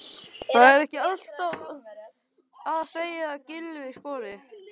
Þarf ekki alltaf að segja að Gylfi skori?